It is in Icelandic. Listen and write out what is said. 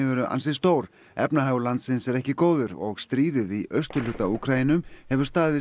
eru ansi stór efnahagur landsins er ekki góður og stríðið í austurhluta Úkraínu hefur staðið